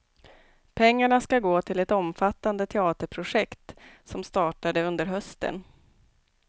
Pengarna skall gå till ett omfattande teaterprojekt, som startade under hösten.